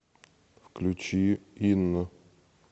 включи инна